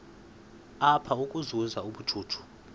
apha ukuzuza ubujuju